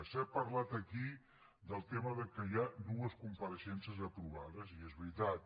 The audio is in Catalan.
s’ha parlat aquí del tema que hi ha dues compareixences aprovades i és veritat